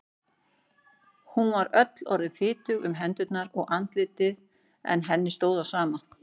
Hún var öll orðin fitug um hendur og andlit en henni stóð á sama.